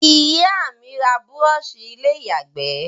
Ìyá mí n ra brush ilé ìyàgbé